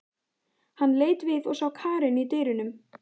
Hann leit við og sá Karen í dyrunum.